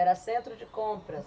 Era centro de compras.